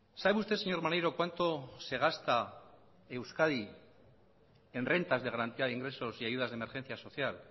sabe usted señor maneiro cuánto se gasta euskadi en rentas de garantía de ingresos y ayudas de emergencia social